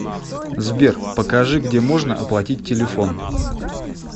сбер покажи где можно оплатить телефон